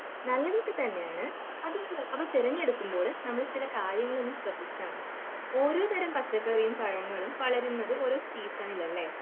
നല്ലതൊക്കെ തന്നെയാണ്, അത്, അത് തിരഞ്ഞെടുക്കുമ്പോൾ നമ്മൾ ചില കാര്യങ്ങൾ ഒന്ന് ശ്രദ്ധിച്ചാൽ മതി. ഓരോ തരം പച്ചക്കറിയും പഴങ്ങളും വളരുന്നത് ഓരോ സീസണിലല്ലേ?